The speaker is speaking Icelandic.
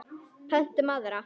Pöntum aðra.